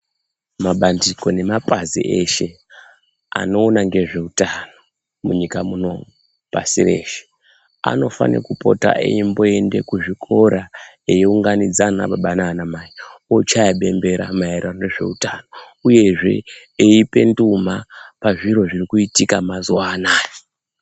Mabandiko nemapazi eshee anoona ngezveutano munyika munomu pasi reshe anofane kupota eyimboende kuzvikora eyi unganidza ana Baba nana mai ochaya bembera maererano ngezveutano uye zvee eyipe nduma pazviro zviri kuitika mazuva anaya.